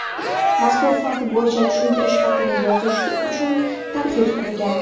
mazkur fakt bo‘yicha tushuntirish xati yozishi uchun taklif qilgan.